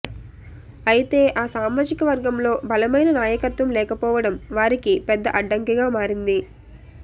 అయితే ఆ సామాజిక వర్గంలో బలమైన నాయకత్వం లేకపోవడం వారికి పెద్ద అడ్డంకిగా మారింది